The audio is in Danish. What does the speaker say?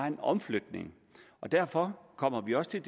en omflytning og derfor kommer vi også til